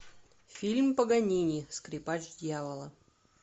фильм паганини скрипач дьявола